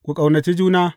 Ku ƙaunaci juna.